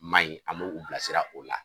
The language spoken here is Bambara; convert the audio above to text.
Ma ɲi a bɛ u bilasira o la